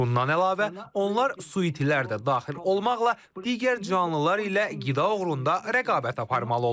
Bundan əlavə, onlar su itilər də daxil olmaqla digər canlılar ilə qida uğrunda rəqabət aparmalı olurlar.